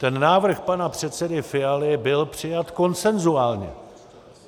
Ten návrh pana předsedy Fialy byl přijat konsenzuálně.